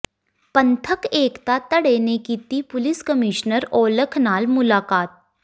ਪੰਥਕ ਏਕਤਾ ਧੜੇ ਨੇ ਕੀਤੀ ਪੁਲਿਸ ਕਮਿਸ਼ਨਰ ਔਲਖ ਨਾਲ ਮੁਲਾਕਾਤ